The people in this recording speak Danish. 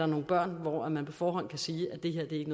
nogle børn hvor man på forhånd kan sige at det hjem ikke